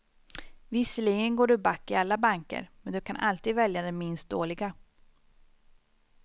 Visserligen går du back i alla banker, men du kan alltid välja den minst dåliga.